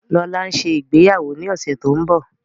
Lọla nṣe ìgbéyàwó ní ọsẹ tó ńbo.